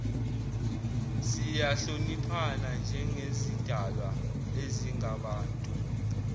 siyahloniphana njengezidalwa ezingabantu